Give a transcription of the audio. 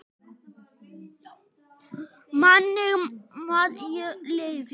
Minning Maju lifir.